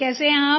कैसे हैं आप